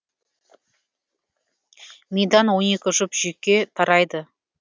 мидан он екі жұп жүйке тарайды